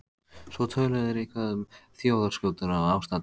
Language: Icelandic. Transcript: Svo töluðu þeir eitthvað um þjóðarskútuna og ástandið í